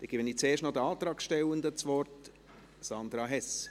Dann gebe zuerst noch den Antragstellenden das Wort: Sandra Hess.